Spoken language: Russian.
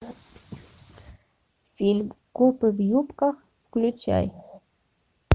фильм копы в юбках включай